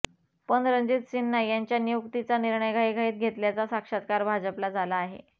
पण रणजीत सिन्हा यांच्या नियुक्तीचा निर्णय घाईघाईत घेतल्याचा साक्षात्कार भाजपला झाला आहे